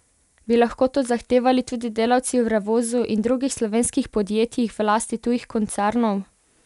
Bi lahko to zahtevali tudi delavci v Revozu in drugih slovenskih podjetjih v lasti tujih koncernov?